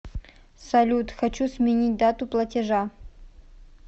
салют хочу сменить дату платежа